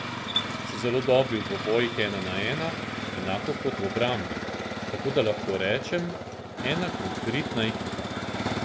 So zelo dobri v dvobojih ena na ena, enako kot v obrambi, tako da lahko rečem, ena korektna ekipa.